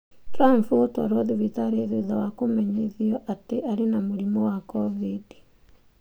Trump gũtwarwo thibitarĩ thutha wa kũmenyithio atĩ arĩ na COVID-19